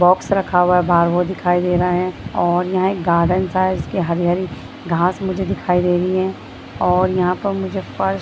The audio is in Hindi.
बॉक्स रखा हुआ है बाहर बोर्ड दिखाई दे रहा है और यहाँ एक गार्डन सा है जिसकी हरी-हरी घास मुझे दिखाई दे रही है और यहाँ पर मुझे फर्श--